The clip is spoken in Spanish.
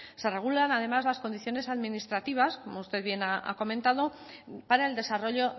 se regulan además las condiciones administrativas como usted bien ha comentado para el desarrollo